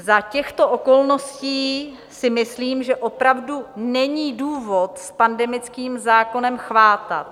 Za těchto okolností si myslím, že opravdu není důvod s pandemickým zákonem chvátat.